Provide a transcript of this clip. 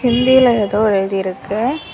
ஹிந்தில ஏதோ எழுதி இருக்கு.